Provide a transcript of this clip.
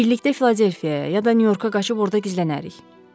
Birlikdə Filadelfiyaya, ya da Nyu-Yorka qaçıb orada gizlənərik.